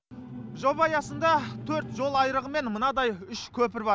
жоба аясында төрт жол айрығы мен мынадай үш көпір бар